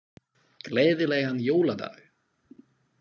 Gleðilegan jóladag.